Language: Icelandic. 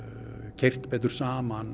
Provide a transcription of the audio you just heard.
keyrt betur saman